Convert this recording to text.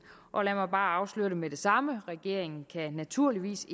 og lad mig bare afsløre med det samme at regeringen naturligvis